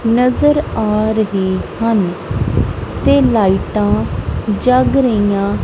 ਨਜ਼ਰ ਆ ਰਹੇ ਹਨ ਤੇ ਲਾਈਟਾਂ ਜਗ ਰਹੀਆਂ --